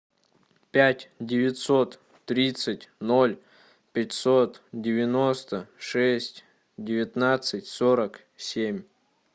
пять девятьсот тридцать ноль пятьсот девяносто шесть девятнадцать сорок семь